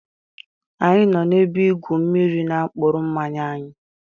Anyi no na-ebe igwu mmiri n'apkuru mmanya anyi